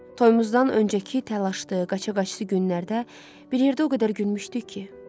Toyumuzdan öncəki təlaşlı, qaçaqaçlı günlərdə bir yerdə o qədər gülmüşdük ki.